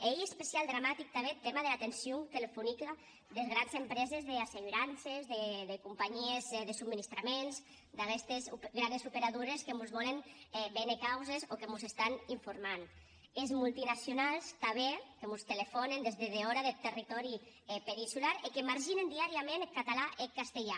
e ei especiaument dramatic tanben eth tèma dera atencion telefonica des granes enterpreses d’assegurances de companhies de subministraments d’aguestes granes operadores que mos vòlen véner causes o que mos informen des multinacionaus tanben que mos telefònen des de dehòra deth territòri peninsular e que marginalizen diàriament eth catalan e eth occitan